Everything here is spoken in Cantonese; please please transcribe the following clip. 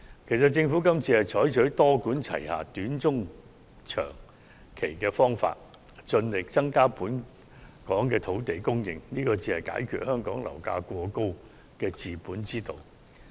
其實，政府今次是採取多管齊下的短、中、長期方法，盡力增加本港的土地供應，這才是解決香港樓價過高的治本之道。